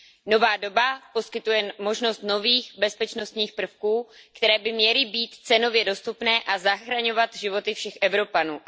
Nová doba poskytuje možnost nových bezpečnostních prvků, které by měly být cenově dostupné a zachraňovat životy všech Evropanů.